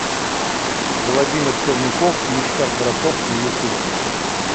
владимир черняков ништяк браток на ютуб